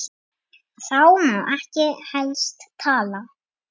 Þá mátti helst ekki tala.